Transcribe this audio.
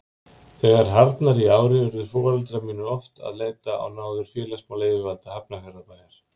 Þegar harðnaði í ári urðu foreldrar mínir oft að leita á náðir félagsmálayfirvalda Hafnarfjarðarbæjar.